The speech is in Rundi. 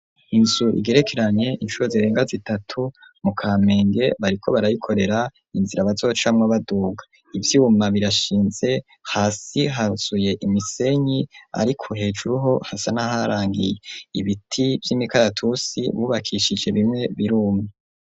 Inzu igerekeranye incuru zirenga zitatu mu kamenge bariko barayikorera inzira abazocamwa baduga ivyuma birashinze hasi hazuye imisenyi, ariko hejuruho hasa n'aharangiye ibiti vy'imikaratusi bubakishije bimwe birume.